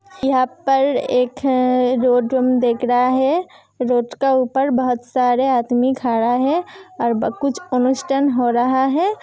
यहा पर ख ए रोड वुम दिख रहा है रोड का ऊपर बहोत सारे आदमी खड़ा है और कुछ अनुष्ठान हो रहा है।